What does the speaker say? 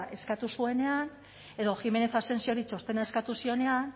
eskatu zuenean edo jiménez asensiori txostena eskatu zionean